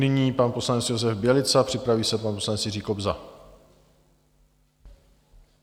Nyní pan poslanec Josef Bělica, připraví se pan poslanec Jiří Kobza.